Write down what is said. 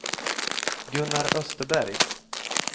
Gunnar Österberg